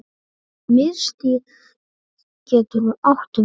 Miðstig getur átt við